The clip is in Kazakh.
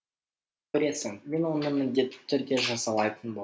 көресің мен оны міндетті түрде жазалайтын боламын